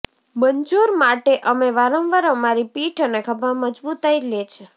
મંજૂર માટે અમે વારંવાર અમારી પીઠ અને ખભા મજબૂતાઇ લે છે